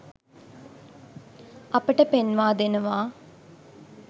අපට පෙන්වා දෙනවා.